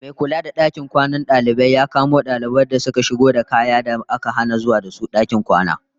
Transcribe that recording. Mai kula da dakin kwanan dalibai ya kamo dalibai da shigowa da kayan da aka hana zuwa da su dakin kwana.